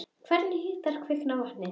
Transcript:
Hvernig hitar kvikan vatnið?